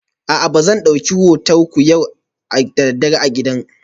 A'a ba zan dauki motsinku yau da dare a gidan wuta ba